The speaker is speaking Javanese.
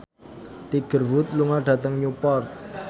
Tiger Wood lunga dhateng Newport